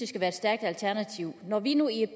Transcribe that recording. skal være et stærkt alternativ når vi nu i et